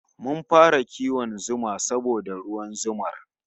Mun fara kiwon zuma saboda ruwan zumar